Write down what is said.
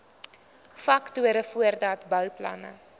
faktore voordat bouplanne